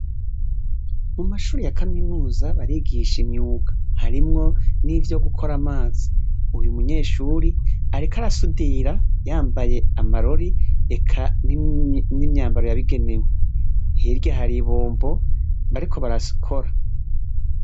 Mu mashure ya kaminuza barigisha imyuga, harimwo nivyo gukora amazi. Uyu munyshure ariko arasudira yambaye amarori, eka n'imyambaro yabigenewe. Hirya hari ibombo bariko barakora.